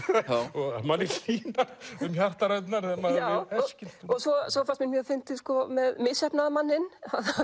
og manni hlýnar um hjartaræturnar svo fannst mér fyndið með misheppnaða manninn